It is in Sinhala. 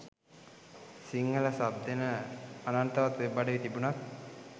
සිංහල සබ් දෙන අනන්තවත් වෙබ් අඩවි තිබුනත්